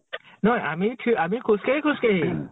নহয় । আমি ,থি আমি খোজ কাঢ়ি, খোজ কাঢ়ি ।